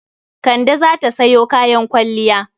Kande za ta sayo kayan kwalliya.